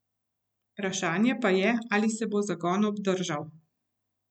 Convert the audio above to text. Vprašanje pa je, ali se bo zagon obdržal.